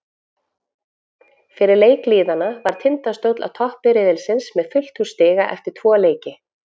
Fyrir leik liðanna var Tindastóll á toppi riðilsins með fullt hús stiga eftir tvo leiki.